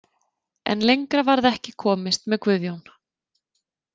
En lengra varð ekki komist með Guðjón.